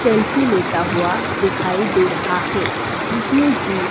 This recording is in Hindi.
सेल्फी लेता हुआ दिखाई दे रहा है जिसने की--